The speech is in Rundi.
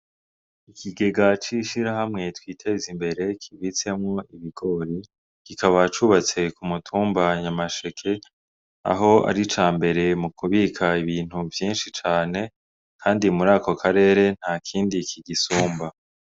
Ikigega c'ishirahamwe Twitezimbere kibitsemwo ibigori kikaba cubatse ku mutumba Nyamasheke aho ari icambere mu kubika ibintu vyishi cane kandi muri ako karere ntakindi kigisumba.